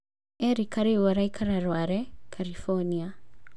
Erika rĩu araikara Rware, Karibonia.